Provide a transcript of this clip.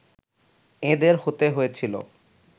এঁদের হতে হয়েছিল